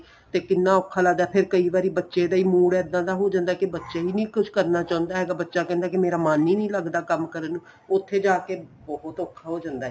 ਤੇ ਕਿੰਨਾ ਔਖਾ ਲੱਗਦਾ ਫੇਰ ਕਈ ਵਾਰੀ ਬੱਚੇ ਦਾ ਹੀ mood ਇੱਦਾਂ ਦਾ ਹੋ ਜਾਂਦਾ ਕੀ ਬੱਚੇ ਹੀ ਨਹੀਂ ਕੁੱਝ ਕਰਨਾ ਚਾਹੁੰਦਾ ਹੈਗਾ ਬੱਚਾ ਕਹਿੰਦਾ ਕੀ ਮੇਰਾ ਮਨ ਹੀ ਨਹੀਂ ਲੱਗਦਾ ਕੰਮ ਕਰਨ ਚ ਉੱਥੇ ਜਾ ਕੇ ਬਹੁਤ ਔਖਾ ਹੋ ਜਾਂਦਾ